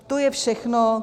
To je všechno.